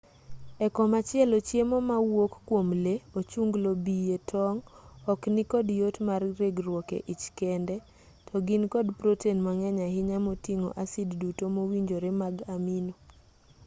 e komachielo chiemo ma wuok kwom lee ochunglo bie tong' ok nikod yot mar regruok e ich kende to gin kod proten mang'eny ahinya moting'o asid duto mowinjore mag amino